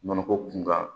Nɔnɔko kunkan